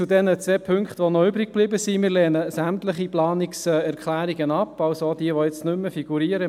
Zu den zwei übrig gebliebenen Punkten: Wir lehnen sämtliche Planungserklärungen ab, also auch diejenigen, die nicht mehr figurieren;